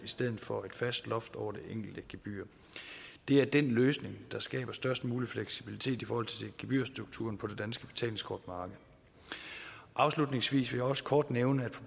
stedet for et fast loft over det enkelte gebyr det er den løsning der skaber størst mulig fleksibilitet i forhold til gebyrstrukturen på det danske betalingskortmarked afslutningsvis vil jeg også kort nævne